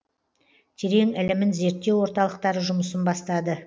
терең ілімін зерттеу орталықтары жұмысын бастады